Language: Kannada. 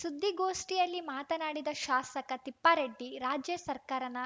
ಸುದ್ಧಿಗೋಷ್ಠಿಯಲ್ಲಿ ಮಾತನಾಡಿದ ಶಾಸಕ ತಿಪ್ಪಾರೆಡ್ಡಿ ರಾಜ್ಯ ಸರ್ಕಾರನ